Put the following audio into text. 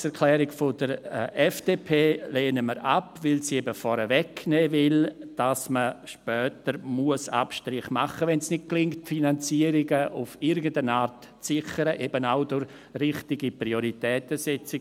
Die Planungserklärung der FDP lehnen wir ab, weil sie eben vorwegnehmen will, dass man später Abstriche machen muss, wenn es nicht gelingt, die Finanzierungen auf irgendeine Art zu sichern, zum Beispiel eben auch durch richtige Prioritätensetzung.